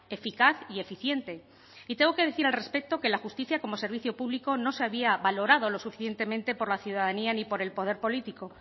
eficaz y eficiente y tengo que decir al respecto que la justicia como servicio público no se había valorado lo suficientemente por la ciudadanía ni por el poder político